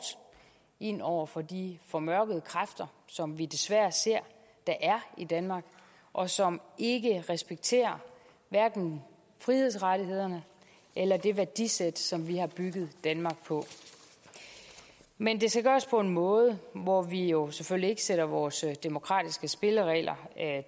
ind over for de formørkede kræfter som vi desværre ser der er i danmark og som ikke respekterer hverken frihedsrettighederne eller det værdisæt som vi har bygget danmark på men det skal gøres på en måde hvor vi jo selvfølgelig ikke sætter vores demokratiske spilleregler